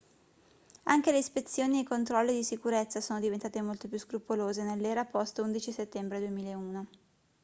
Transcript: anche le ispezioni ai controlli di sicurezza sono diventate molto più scrupolose nell'era post 11 settembre 2001